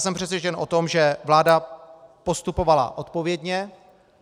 Jsem přesvědčený o tom, že vláda postupovala odpovědně.